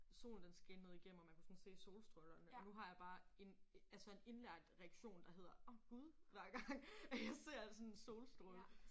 Solen den skinnede igennem og man kunne sådan se solstrålerne og nu har jeg bare en altså en indlært reaktion der hedder åh Gud hver gang at jeg ser sådan en solstråle